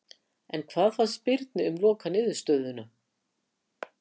En hvað fannst Birni um lokaniðurstöðuna?